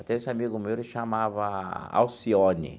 Até esse amigo meu ele chamava Alcione.